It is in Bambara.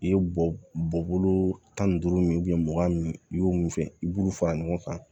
I ye bɔ bɔ bolo tan ni duuru min mugan min i y'o min kɛ i b'olu fara ɲɔgɔn kan